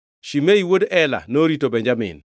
Shimei wuod Ela norito Benjamin;